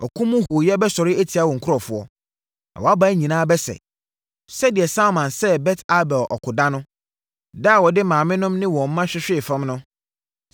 ɔko mu hooyɛ bɛsɔre atia wo nkurɔfoɔ, na wʼaban nyinaa bɛsɛe, sɛdeɛ Salman sɛee Bet Arbel ɔko da no, da a wɔde maamenom ne wɔn mma hwehwee fam no.